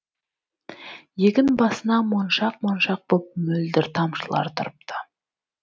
егін басына моншақ моншақ боп мөлдір тамшылар тұрыпты